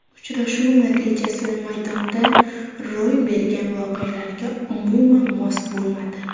Uchrashuv natijasi maydonda ro‘y bergan voqealarga umuman mos bo‘lmadi.